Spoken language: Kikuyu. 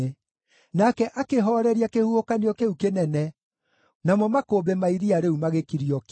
Nake akĩhooreria kĩhuhũkanio kĩu kĩnene; namo makũmbĩ ma iria rĩu magĩkirio ki.